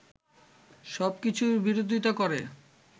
সবকিছুর বিরোধীতা করে